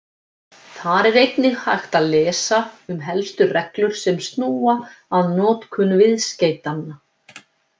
Þar er einnig hægt að lesa um helstu reglur sem snúa að notkun viðskeytanna.